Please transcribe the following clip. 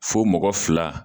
Fo mɔgɔ fila